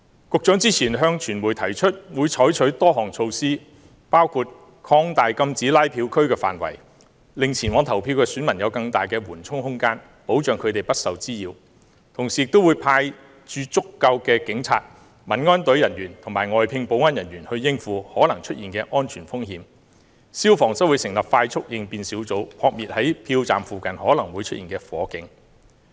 局長之前向傳媒提出會採取多項措施，包括擴大禁止拉票區的範圍，令前往投票的選民有更大緩衝空間，保障他們不受滋擾；同時亦會派駐足夠的警察、民安隊人員和外聘保安人員應付可能出現的安全風險；消防則會成立快速應變小組，撲滅在票站附近可能會出現的火警。